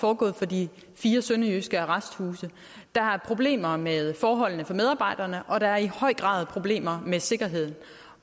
foregået fra de fire sønderjyske arresthuse der er problemer med forholdene for medarbejderne og der er i høj grad problemer med sikkerheden